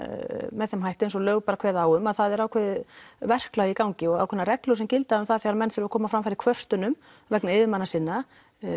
með þeim hætti eins og lög kveða á um það er ákveðið verklag í gangi og ákveðnar reglur sem gilda um það þegar menn þurfa að koma fram kvörtunum vegna yfirmanna sinna